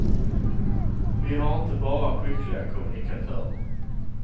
Vi har inte bara skickliga kommunikatörer.